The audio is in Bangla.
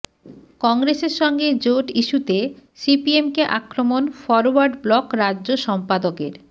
কংগ্রেসের সঙ্গে জোট ইস্যুতে সিপিএমকে আক্রমণ ফরওয়ার্ড ব্লক রাজ্য সম্পাদকের